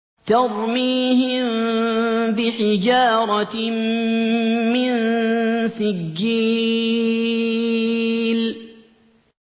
تَرْمِيهِم بِحِجَارَةٍ مِّن سِجِّيلٍ